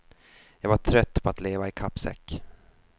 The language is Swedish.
Jag var trött på att leva i kappsäck.